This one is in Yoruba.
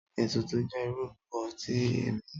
Ètùtù jẹ irúbo tí emí